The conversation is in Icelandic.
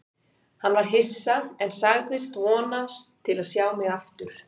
Hann var hissa, en sagðist vonast til að sjá mig aftur.